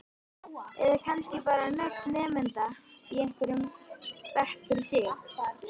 Eða kannski bara nöfn nemenda í hverjum bekk fyrir sig?